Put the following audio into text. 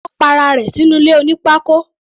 Ó pa ara rẹ̀ sínú ilé oní pákó.